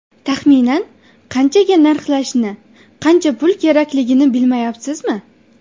Taxminan qanchaga narxlashni, qancha pul kerakligini bilmayapsizmi?